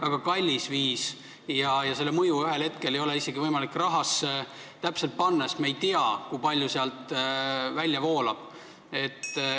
Nende mõju ei ole ühel hetkel isegi võimalik rahasse täpselt ümber panna, sest me ei tea, kui palju raha välja voolab.